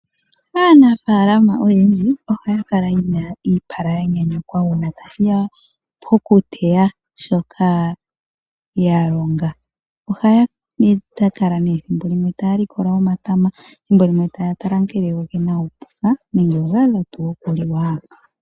Aanafalama oyendji ohakala yena ipala yanyanyukwa una tashiya pokuteya shoka yalonga, ohayakala ne thimbo limwe taya likola omatama thimbo limwe taya tala nga ngele ongena upuka nenge ngadha tu okulilwa.